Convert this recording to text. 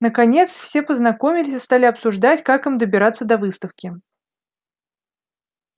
наконец все познакомились и стали обсуждать как им добираться до выставки